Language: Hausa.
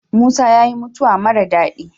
Musa yayi mutawa mara dadi